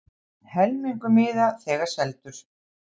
Helmingur miða þegar seldur